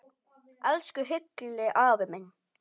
Elsku Hilli afi minn.